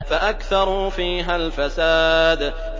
فَأَكْثَرُوا فِيهَا الْفَسَادَ